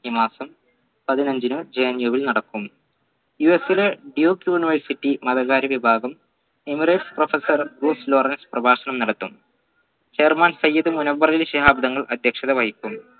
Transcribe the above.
ഈ മാസം പതിനഞ്ചിന് JNU ൽ നടക്കും US ലെ duke university മതകാര്യ വിഭാഗം emirates professor ലോറൻസ് പ്രഭാഷണം നടത്തും chairman സെയ്ത് മുനവ്വറലി ശിഹാബ് തങ്ങൾ അധ്യക്ഷത വഹിക്കും